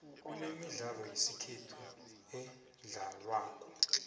kunemidlalo yesikhethu edlalwako